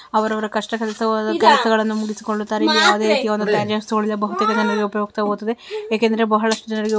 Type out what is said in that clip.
ಅವರವರ ಕಷ್ಟವಾದ ಕೆಲಸವನ್ನು ಮುಗಿಸಿಕೊಳ್ಳುತ್ತಾರೆ ಇಲ್ಲಿ ಯಾವುದೇ ರೀತಿಯ ಒಂದು ಬಹುತೇಕ ಜನರಿಗೆ ಉಪಯುಕ್ತ ವಾಗಿದೆ ಏಕೆ ಅಂದ್ರೆ ಬಹಳಷ್ಟು ಜನರಿಗೆ --